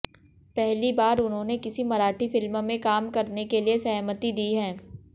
पहली बार उन्होंने किसी मराठी फिल्म में काम करने के लिए सहमति दी है